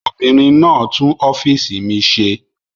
Obìnrin náà tún ọ́fíísì mi ṣe.